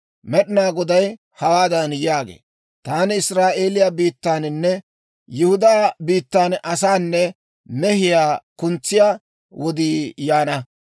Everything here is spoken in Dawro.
Med'inaa Goday hawaadan yaagee; «Taani Israa'eeliyaa biittaaninne Yihudaa biittan asaanne mehiyaa kuntsiyaa wodii yaana.